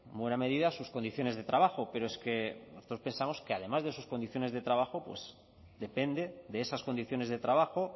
buena medida sus condiciones de trabajo pero es que nosotros pensamos que además de sus condiciones de trabajo depende de esas condiciones de trabajo